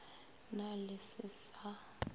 na le se se sa